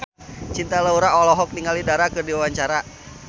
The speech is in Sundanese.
Cinta Laura olohok ningali Dara keur diwawancara